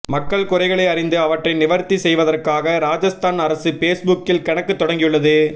மக்கள் குறைகளை அறிந்து அவற்றை நிவர்த்தி செய்வதற்காக ராஜஸ்தான் அரசு பேஸ்புக்கில் கணக்கு தொடங்கியுள்ளது